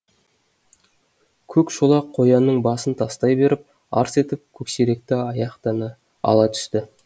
көк шолақ қоянның басын тастай беріп арс етіп көксеректі аяқтан ала түсті